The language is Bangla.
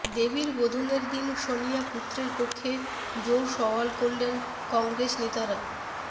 দেবীর বোধনের দিন সোনিয়া পুত্রের পক্ষে জোর সওয়াল করলেন কংগ্রেস নেতারা